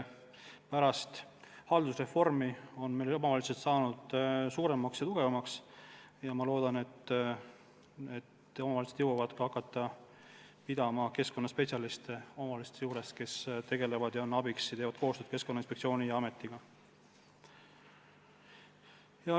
Pärast haldusreformi on omavalitsused saanud suuremaks ja tugevamaks ja ma loodan, et nad jõuavad ka hakata pidama keskkonnaspetsialiste, kes on abiks ja teevad koostööd Keskkonnainspektsiooni ja Keskkonnaametiga.